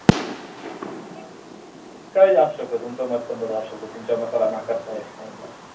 काही असू शकत तुमचं मत पण बरोबर असू शकत तुमच्या मताला न करता येत नाही.